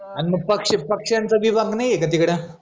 अन मग पक्ष पक्ष्यांचा विभाग नाई ए का तिकडं